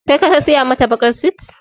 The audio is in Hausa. Kai ka saya mata baƙar sut?